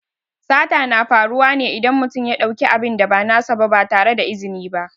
Sata na faruwa ne idan mutum ya ɗauki abin da ba nasa ba ba tare da izini ba.